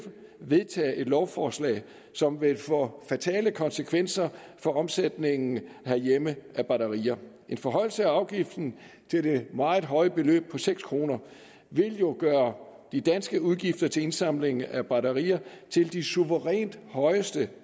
vedtage et lovforslag som vil få fatale konsekvenser for omsætningen herhjemme af batterier en forhøjelse af afgiften til det meget høje beløb på seks kroner vil jo gøre de danske udgifter til indsamling af batterier til de suverænt højeste